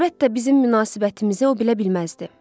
Əlbəttə, bizim münasibətimizi o bilə bilməzdi.